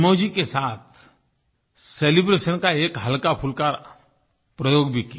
mazes के साथ celebration का एक हल्काफुल्का प्रयोग भी किया